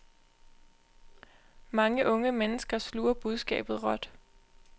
Mange unge mennesker sluger budskabet råt.